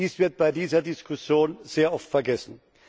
Dies wird bei dieser Diskussion sehr oft vergessen.